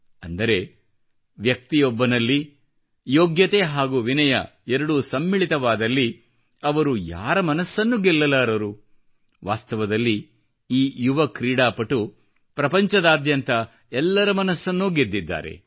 ಅಂದರೆ ವ್ಯಕ್ತಿಯೊಬ್ಬನಲ್ಲಿ ಯೋಗ್ಯತೆ ಹಾಗೂ ವಿನಯ ಎರಡೂ ಸಮ್ಮಿಳಿತವಾದಲ್ಲಿ ಅವರು ಯಾರ ಮನಸ್ಸನ್ನು ಗೆಲ್ಲಲಾರರು ವಾಸ್ತವದಲ್ಲಿ ಈ ಯುವ ಕ್ರೀಡಾಪಟು ಪ್ರಪಂಚದಾದ್ಯಂತ ಎಲ್ಲರ ಮನಸ್ಸನ್ನೂ ಗೆದ್ದಿದ್ದಾರೆ